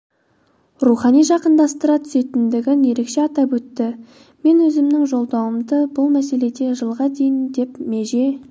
рухани жақындастыра түсетіндігін ерекше атап өтті мен өзімнің жолдауымда бұл мәселеде жылға дейін деп меже